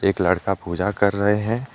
लड़का पूजा कर रहे हैं।